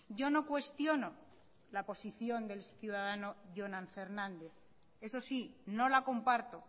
yo no cuestiono la posición del ciudadano jonan fernández eso sí no la comparto